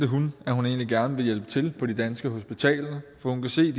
hun at hun egentlig gerne ville hjælpe til på de danske hospitaler for hun kan se